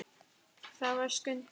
Það var Skundi.